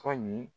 Tɔ in